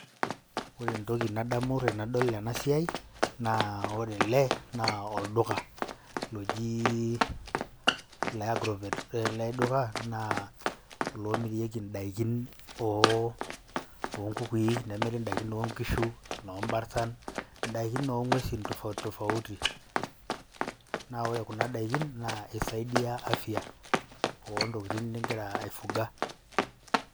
Ore entoki nadamu tenadol ena siai naa ore ele naa olduka loji ole agrovet. Ore ele doku naa oloomorieki indaikin oo oo nkukui, nemiri ndaikin nkishu, nemiri inoombartan, indaikin oo ng'uesin tofauti tofauti. Naa ore kuna daikin naa isaidia afya oo ntokitin ningira ai fuga.